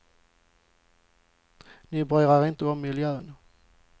Ni bryr er inte om miljön.